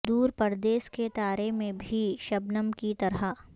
دور پردیش کے تارے میں بھی شبنم کی طرح